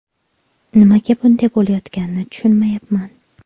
Nimaga bunday bo‘layotganini tushunmayapman.